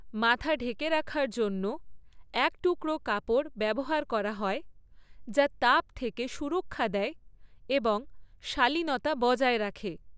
মাথা ঢেকে রাখার জন্য এক টুকরো কাপড় ব্যবহার করা হয়, যা তাপ থেকে সুরক্ষা দেয় এবং শালীনতা বজায় রাখে।